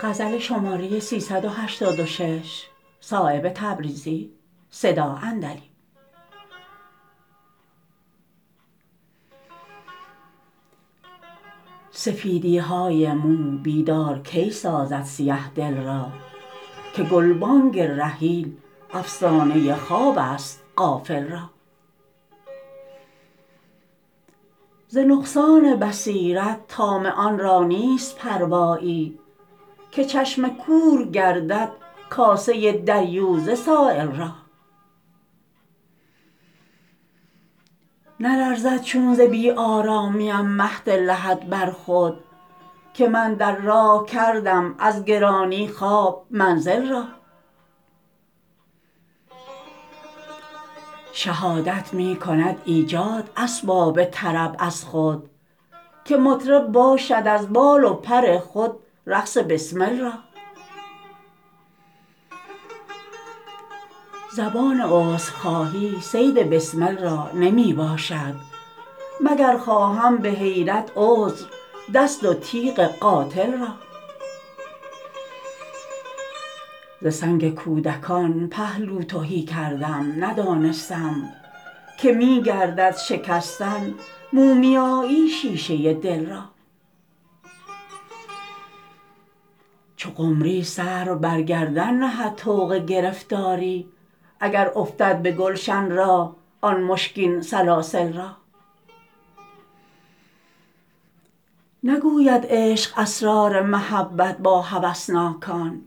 سفیدی های مو بیدار کی سازد سیه دل را که گلبانگ رحیل افسانه خواب است غافل را ز نقصان بصیرت طامعان را نیست پروایی که چشم کور گردد کاسه دریوزه سایل را نلرزد چون ز بی آرامیم مهد لحد بر خود که من در راه کردم از گرانی خواب منزل را شهادت می کند ایجاد اسباب طرب از خود که مطرب باشد از بال و پر خود رقص بسمل را زبان عذرخواهی صید بسمل را نمی باشد مگر خواهم به حیرت عذر دست و تیغ قاتل را ز سنگ کودکان پهلو تهی کردم ندانستم که می گردد شکستن مومیایی شیشه دل را چو قمری سر و بر گردن نهد طوق گرفتاری اگر افتد به گلشن راه آن مشکین سلاسل را نگوید عشق اسرار محبت با هوسناکان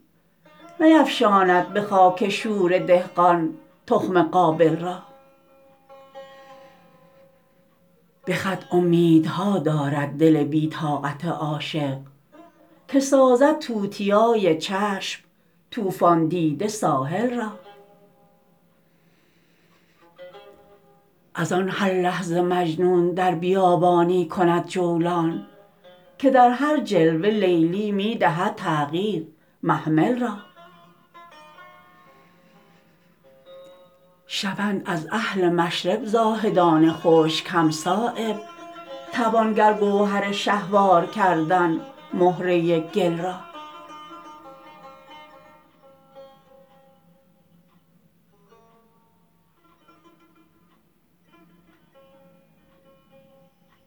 نیفشاند به خاک شوره دهقان تخم قابل را به خط امیدها دارد دل بی طاقت عاشق که سازد توتیای چشم طوفان دیده ساحل را ازان هر لحظه مجنون در بیابانی کند جولان که در هر جلوه لیلی می دهد تغییر محمل را شوند از اهل مشرب زاهدان خشک هم صایب توان گر گوهر شهوار کردن مهره گل را